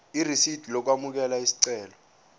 irisidi lokwamukela isicelo